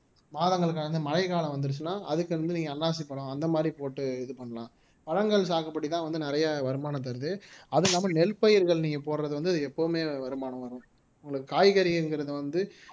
மாதங்களுக்கு கடந்து மழைக்காலம் வந்திருச்சுன்னா அதுக்கு வந்து நீங்க அன்னாசிப் பழம் அந்த மாதிரி போட்டு இது பண்ணலாம் பழங்கள் சாகுபடிதான் வந்து நிறைய வருமானம் தருது அதுவும் இல்லாம நெல் பயிர்கள் நீங்க போடுறது வந்து எப்பவுமே வருமானம் வரும் உங்களுக்கு காய்கறிங்கிறது வந்து